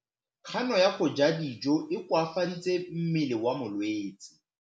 Kganô ya go ja dijo e koafaditse mmele wa molwetse.